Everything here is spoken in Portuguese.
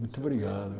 Muito obrigado.